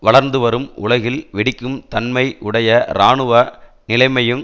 வளர்ந்து வரும் உலகில் வெடிக்கும் தன்மை உடைய இராணுவ நிலைமையையும்